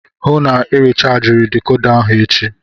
Hụụ na Ị rechajiri dekoda ahụ echi!